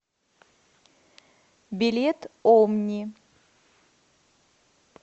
билет омни